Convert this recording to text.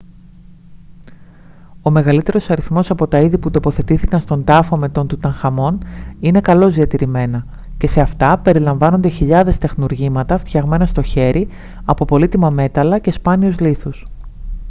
ο μεγαλύτερος αριθμός από τα είδη που τοποθετήθηκαν στον τάφο με τον τουταγχαμών είναι καλώς διατηρημένα και σε αυτά περιλαμβάνονται χιλιάδες τεχνουργήματα φτιαγμένα στο χέρι από πολύτιμα μέταλλα και σπάνιους λίθους